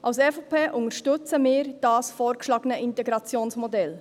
Die EVP unterstützt das vorgeschlagene Integrationsmodell.